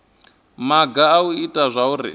maga a u ita zwauri